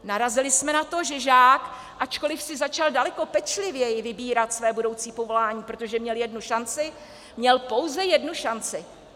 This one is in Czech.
Narazili jsme na to, že žák, ačkoliv si začal daleko pečlivěji vybírat své budoucí povolání, protože měl jednu šanci, měl pouze jednu šanci.